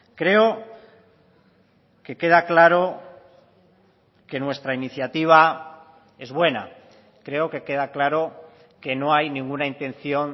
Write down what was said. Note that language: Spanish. creo que queda claro que nuestra iniciativa es buena creo que queda claro que no hay ninguna intención